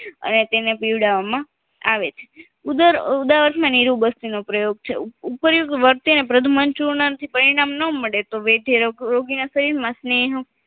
અને તેને પીવડવામાં આવે છે ઉદર ઉદાવારમાં નિરુબસ્તી નો પ્રયોગ છે ઉપર એકવર્તીને પ્રદુમાન ચૂર્ણ થી પરિણામ ના મળે તો વેઠે રોગ રોગીના શરીરમાં સ્નેહ